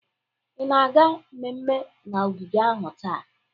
Ị na-aga mmemme na ogige ahụ taa?